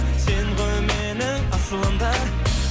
сен ғой менің асылым да